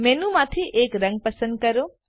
મેનુંમાંથી એક રંગ પસંદ કરો